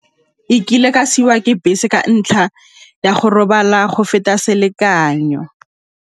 E kile ka siiwa ke bese ka ntlha ya go robala go feta selekanyo.